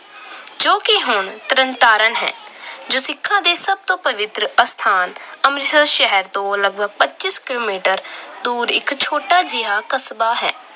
ਜੋ ਕਿ ਹੁਣ ਤਰਨਤਾਰਨ ਹੈ। ਸਿੱਖਾਂ ਦੇ ਸਭ ਤੋਂ ਪਵਿੱਤਰ ਅਸਥਾਨ ਅੰਮ੍ਰਿਤਸਰ ਸ਼ਹਿਰ ਤੋਂ ਲਗਭਗ ਪੱਚੀ ਕਿਲੋਮੀਟਰ ਦੂਰ ਇੱਕ ਛੋਟਾ ਜਿਹਾ ਕਸਬਾ ਹੈ।